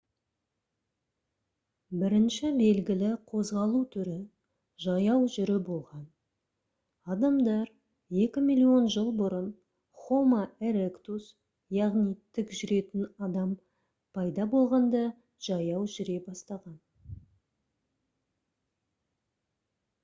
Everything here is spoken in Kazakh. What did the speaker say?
бірінші белгілі қозғалу түрі жаяу жүру болған адамдар екі миллион жыл бұрын homo erectus яғни тік жүретін адам пайда болғанда жаяу жүре бастаған